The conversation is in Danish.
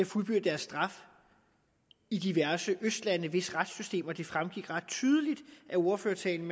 fuldbyrdet deres straf i diverse østlande hvis retssystemer det af ordførertalen